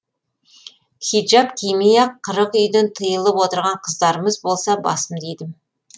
хиджаб кимей ақ қырық үйден тыйылып отырған қыздарымыз болса басымды идім